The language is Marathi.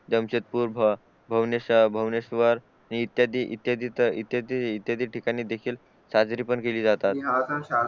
जमशेदपूर भुनेश्वर इत्यादी ठिकाणी देखील साजरी पण केली जातात